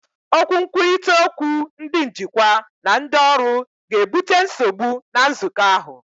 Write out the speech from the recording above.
Okwu nkwurịta okwu ndị njikwa na ndị ọrụ ga-ebute nsogbu na nzukọ ahụ.